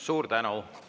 Suur tänu!